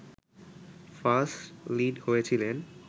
first lead হয়েছিলেন